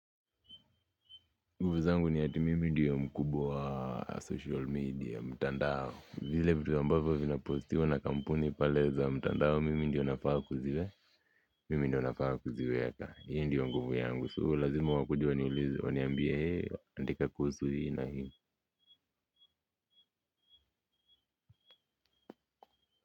Nguvu zangu ni ati mimi ndiyo mkubwa wa social media, mtandao. Vile vitu ambavyo vinapostiwa na kampuni pale za mtandao mimi ndiyo nafaa kuziwe mimi ndiyo nafaa kuziweka hiyo ndiyo nguvu yangu so lazima wakuje waniulize, waniambia hiyo andika kuhusu hii na hii.